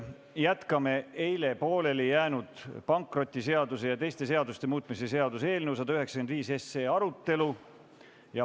Jätkame eile pooleli jäänud pankrotiseaduse ja teiste seaduste muutmise seaduse eelnõu 195 arutelu.